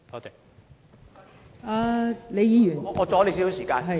代理主席，我要阻你少許時間。